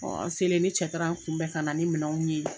an selen ne cɛ taar'an kun bɛn kana ni minanw ye.